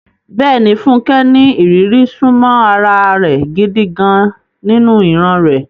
Bẹ́ẹ̀ni, Funke ní ìrírí súnmọ́ ara rẹ̀ gidi gan-an nínú ìran rẹ̀.